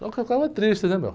Só que eu ficava triste, né, meu?